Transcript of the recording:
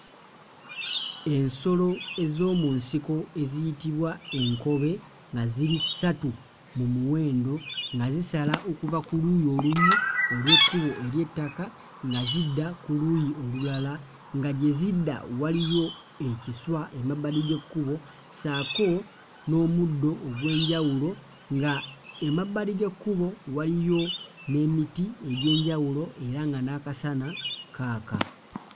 Ensolo ez'omu nsiko eziyitibwa enkobe nga ziri ssatu mu muwendo nga zisala okuva ku luuyi olumu olw'ekkubo ery'ettaka nga zidda ku luuyi olulala nga gye zidda waliyo ekiswa emabbali g'ekkubo ssaako, n'omuddo ogw'enjawulo. Nga emabbali g'ekkubo waliyo n'emiti egy'enjawulo era nga n'akasana Kaaka.